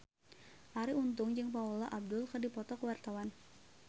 Arie Untung jeung Paula Abdul keur dipoto ku wartawan